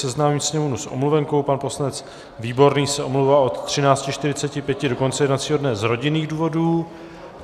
Seznámím sněmovnu s omluvenkou, pan poslanec Výborný se omlouvá od 13.45 do konce jednacího dne z rodinných důvodů.